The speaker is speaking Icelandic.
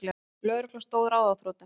Lögreglan stóð ráðþrota.